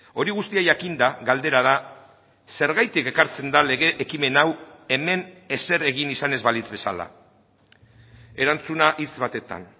hori guztia jakinda galdera da zergatik ekartzen da lege ekimen hau hemen ezer egin izan ez balitz bezala erantzuna hitz batetan